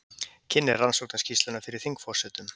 Kynnir rannsóknarskýrsluna fyrir þingforsetum